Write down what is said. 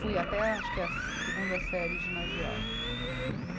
Fui até acho que a segunda série ginasial.